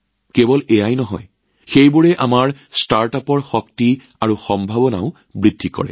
কেৱল ইমানেই নহয় ই আমাৰ ষ্টাৰ্টআপসমূহৰ শক্তি আৰু সম্ভাৱনাও বৃদ্ধি কৰে